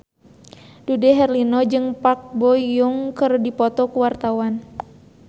Dude Herlino jeung Park Bo Yung keur dipoto ku wartawan